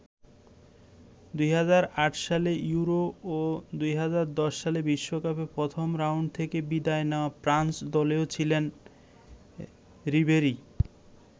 ২০০৮ সালে ইউরো ও ২০১০ সালে বিশ্বকাপে প্রথম রাউন্ড থেকে বিদায় নেয়া ফ্রান্স দলেও ছিলেন রিবেরি।